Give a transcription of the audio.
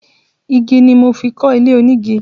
Igi ni mo fi kọ́ ilé onígi.